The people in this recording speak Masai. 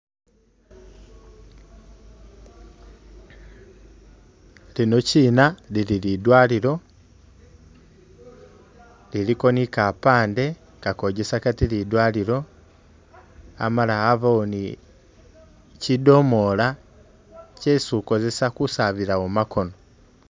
Lino kyina lili lidwaliro ,iliko ni kapande kakojesa kati lidwaliro ,amala abawo ni kyidomoola kyesi ukozesa kusabilawo makono